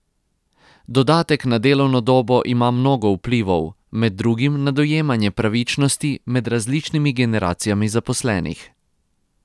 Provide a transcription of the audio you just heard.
Dodatek na delovno dobo ima mnogo vplivov, med drugim na dojemanje pravičnosti med različnimi generacijami zaposlenih.